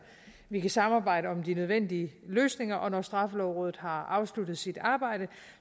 vi kan samarbejde om de nødvendige løsninger og når straffelovrådet har afsluttet sit arbejde